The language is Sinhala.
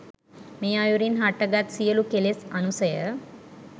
මේ අයුරින් හටගත් සියලු කෙලෙස් අනුසය